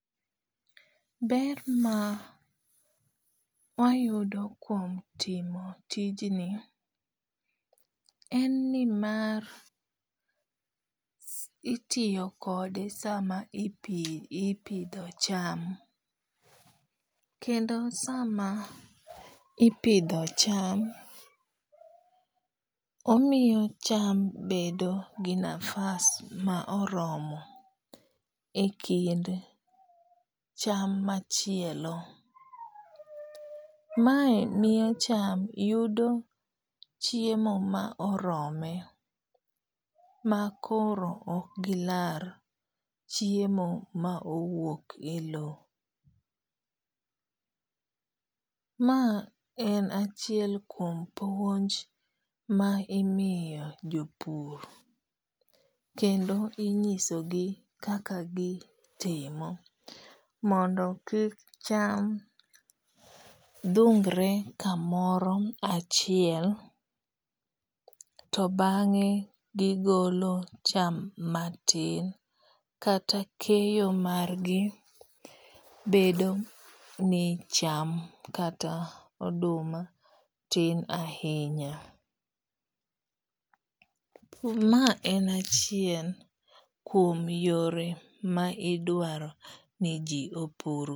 Ber ma wayudo kuom timo tijni en ni mar itiyo kode sama ipidho cham. Kendo sama ipidho cham omiyo cham bedo gi nafas ma oromo e kind cham machielo. Mae miyo cham yudo chiemo ma orome ma koro ok gilar chiemo ma owuok e low. Ma en achiel kuom puonj ma imiyo jopur kendo inyiso gi kaka gitimo mondo kik cham dhungre kamaro achiel to bang'e gigolo cham matin kata keyo mar gi bedo ni cham kata oduma tin ahinya. Ma en achiel kuom yore ma idwaro ni ji opur.